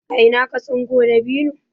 a Ina ka tsinko dabino?